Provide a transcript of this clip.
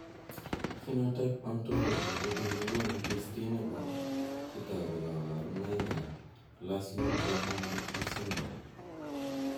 Phenotype ontology nebo biik kokoonu listini bo chetogu ak kaborunoik ab Lassuer Graham Little syndrome